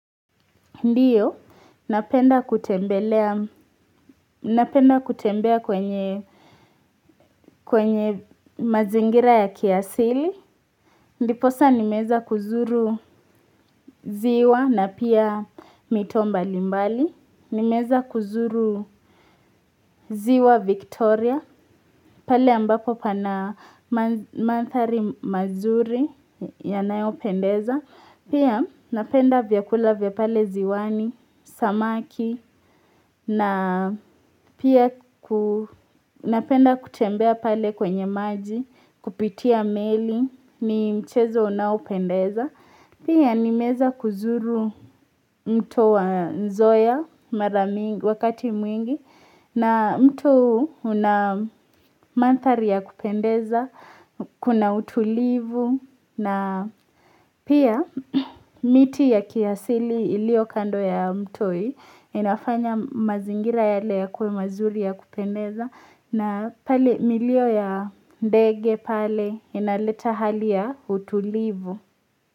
Ndiyo, napenda kutembelea, napenda kutembea kwenye kwenye mazingira ya kiasili ndiposa nimeweza kuzuru ziwa na pia mito mbali mbali nimeweza kuzuru ziwa Victoria, pale ambapo pana manthari mazuri ya nayo pendeza pia napenda vyakula vya pale ziwani, samaki, na pia ku napenda kutembea pale kwenye maji, kupitia meli, ni mchezo unaopendeza. Pia nimeweza kuzuru mto wa nzoia mara mingi wakati mwingi na mto huu una mantari ya kupendeza, kuna utulivu na pia miti ya kiasili iliyo kando ya mto hii inafanya mazingira yale yakue mazuri ya kupendeza na pale milio ya ndege pale inaleta hali ya utulivu.